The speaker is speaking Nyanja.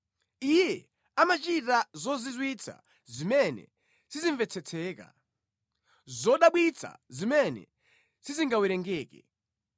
Iye amachita zozizwitsa zimene sizimvetsetseka, zodabwitsa zimene sizingawerengeke.